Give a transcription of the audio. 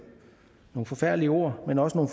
nogle forfærdelige ord men også nogle